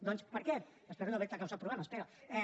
doncs per què espero no haver te causat problemes pere